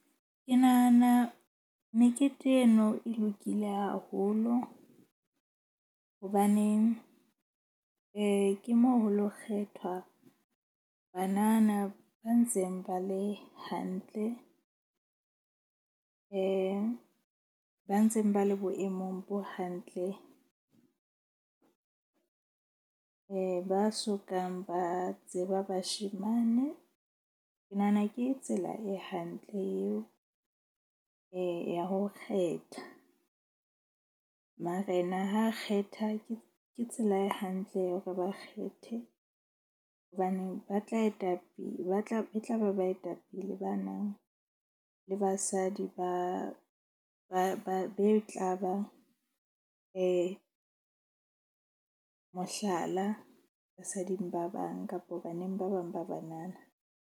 Ke nahana mekete eno e lokile haholo. Hobaneng ke moo ho lo kgethwa banana ba ntseng ba le hantle. Ba ntseng ba le boemong bo hantle ba sokang ba tseba bashemane. Ke nahana ke tsela e hantle eo ya ho kgetha. Marena ha kgetha ke tsela e hantle ya hore ba kgethe hobane ba tla etapele, ba tla e tla ba baetapele ba nang le ba basadi ba be tla ba mohlala basading ba bang kapo baneng ba bang ba banana.